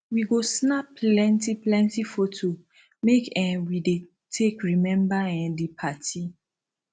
we go snap plenty plenty foto make um we take dey remember um di party